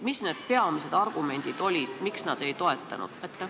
Mis need peamised argumendid olid, miks nad ei toetanud?